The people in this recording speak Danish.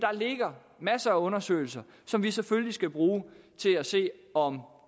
ligger masser af undersøgelser som vi selvfølgelig skal bruge til at se om